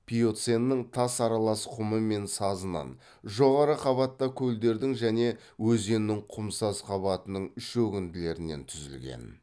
пиоценнің тас аралас құмы мен сазынан жоғары қабатта көлдердің және өзеннің құмсаз қабатының шөгінділерінен түзілген